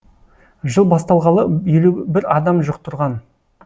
жыл басталғалы елу бір адам жұқтырған